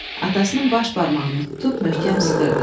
Atasının baş barmağını tutub möhkəm sıxırdı.